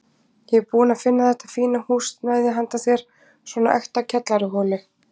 Ég er búinn að finna þetta fína húsnæði handa þér, svona ekta kjallaraholu.